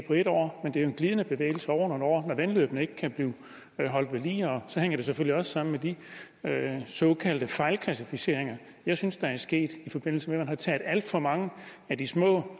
en år men det er jo en glidende bevægelse over nogle år når vandløbene ikke kan blive holdt ved lige og så hænger det selvfølgelig også sammen med de såkaldte fejlklassificeringer jeg synes der er sket i forbindelse med at man har taget alt for mange af de små